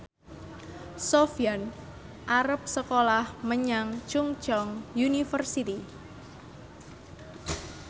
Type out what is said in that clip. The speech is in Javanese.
Sofyan arep sekolah menyang Chungceong University